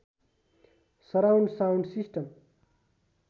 surround sound system